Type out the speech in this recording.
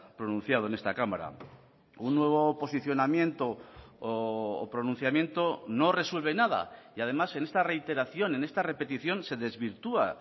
pronunciado en esta cámara un nuevo posicionamiento o pronunciamiento no resuelve nada y además en esta reiteración en esta repetición se desvirtúa